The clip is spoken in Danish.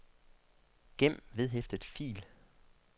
gem vedhæftet fil